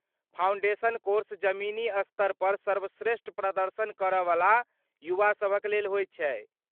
Foundation course जमीनी स्तरपर सर्वश्रेष्ठ प्रदर्शन करयवला युवा सभक लेल होइत छै।